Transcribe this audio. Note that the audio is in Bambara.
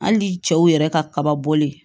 Hali cɛw yɛrɛ ka kaba bɔlen